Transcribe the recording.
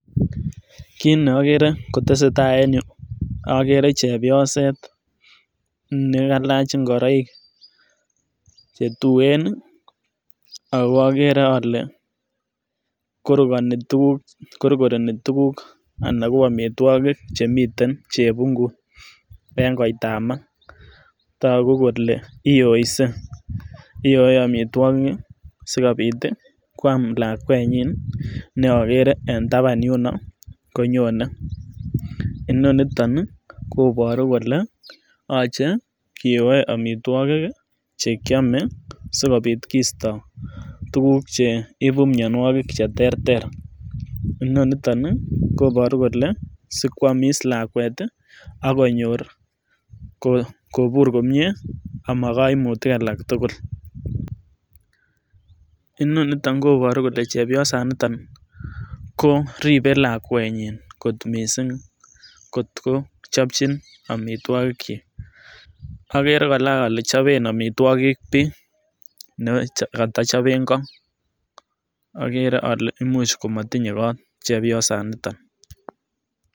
Kit ne okere kotesetai en yuu okere chepyoset nekailach ingoroik chetuen nii ako okere ole korokono korkoreni tukuk anan ko omitwkik chemiten en chebungut en koitamam toku kole iyoise iyoe omitwokik kii sikobit tii kwam lakwenyin neokere en taban yuno konyone. Noniton nii koboru kole yoche kiyoe omitwokik chekiome sikopit kisto tukuk cheibu mionwokik cheterter inonoton nii koboru kole sikwomiss lakwet tii ak konyor kobur komie ama koimutik alak tukul, inoniton koboru kole chebiosaniton koribe lakwenyin kot misssing kot ko chopchin omitwokik chik. Okere koraa ole choben omitwokik bii nekotochobe koo , okere ole imuch komotinye koot chepiosaniton.